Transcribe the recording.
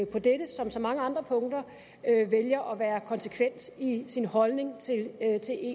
på dette som så mange andre punkter vælger at være konsekvent i sin holdning til